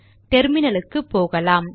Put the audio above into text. டெர்மினலுக்கு போகலாம்